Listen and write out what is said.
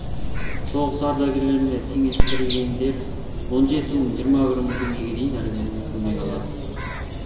соғыс ардагерлеріне теңестірілгендер он жеті мыңнан жиырма бір мың теңгеге дейін әлеуметтік көмек алады